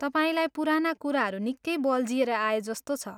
तपाईँलाई पुराना कुराहरू निकै बल्झिएर आएजस्तो छ।